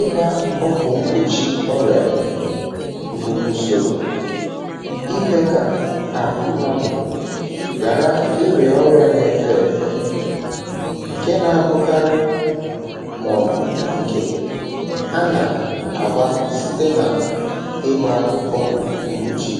ịgbȧ ọgwụ̀ mgbòchi ọrịà bụ̀ ùsòrò imė kà àhụ mmadụ̀ ghàra ịrị̀ọ̀ ọrịà n’efė èfè, ǹke na-abụkarị um màọ̀bụ̀ ǹkè a nà-àgba site nà ịgbȧ ọgwụ̀ mgbòchi.